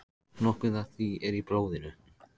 Nokkuð af því er í blóðinu.